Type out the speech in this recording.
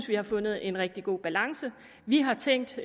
vi har fundet en rigtig god balance vi har tænkt